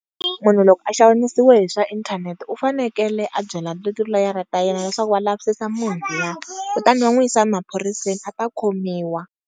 Munhu loko a xanisiwe hi swa inthanete u fanekele a byela tiloyara ta yena leswaku va lavisisa munhu luya, kutani va n'wi yisa maphoriseni a ta khomiwa.